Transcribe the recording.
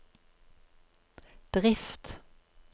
drift